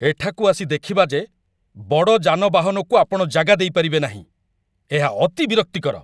ଏଠାକୁ ଆସି ଦେଖିବା ଯେ ବଡ଼ ଯାନବାହନକୁ ଆପଣ ଜାଗା ଦେଇପାରିବେ ନାହିଁ, ଏହା ଅତି ବିରକ୍ତିକର।